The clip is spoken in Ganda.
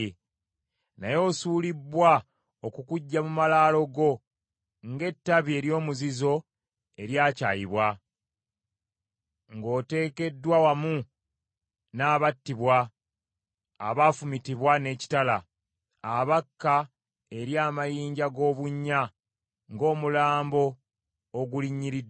naye osuulibbwa okukuggya mu malaalo go ng’ettabi ery’omuzizo eryakyayibwa, ng’oteekeddwa wamu n’abattibwa, abaafumitibwa n’ekitala, abakka eri amayinja g’obunnya; ng’omulambo ogulinyiriddwa.